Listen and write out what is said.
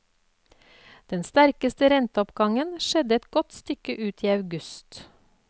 Den sterkeste renteoppgangen skjedde et godt stykke ut i august.